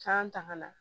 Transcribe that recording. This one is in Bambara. K'an ta ka na